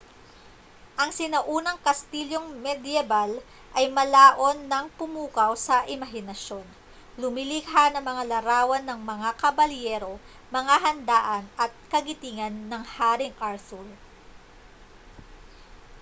ang sinaunang kastilyong medyebal ay malaon ng pumukaw sa imahinasyon lumilikha ng mga larawan ng mga kabalyero mga handaan at kagitingan ng haring arthur